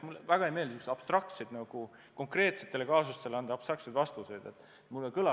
Mulle eriti ei meeldi anda konkreetsetele kaasustele abstraktseid hinnanguid, kui ma asjast midagi ei tea.